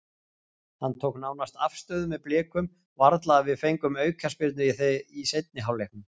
Hann tók nánast afstöðu með Blikum, varla að við fengjum aukaspyrnu í seinni hálfleiknum.